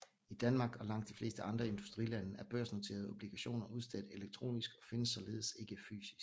I Danmark og i langt de fleste andre industrilande er børsnoterede obligationer udstedt elektronisk og findes således ikke fysisk